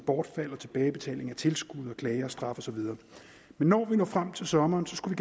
bortfald og tilbagebetaling af tilskud om klager straf og så videre men når vi når frem til sommeren skulle